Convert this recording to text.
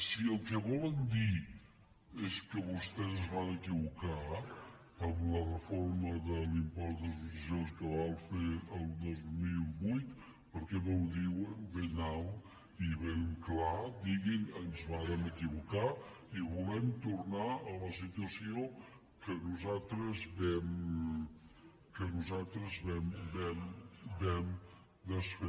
si el que volen dir és que vostès es van equivocar amb la reforma de l’impost de successions que van fer el dos mil vuit per què no ho diuen ben alt i ben clar diguin ens vàrem equivocar i volem tornar a la situació que nosaltres vam desfer